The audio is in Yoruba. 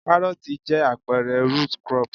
Karooti jẹ́ àpẹẹrẹ root crop.